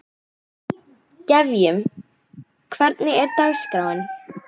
Gefjun, hvernig er dagskráin?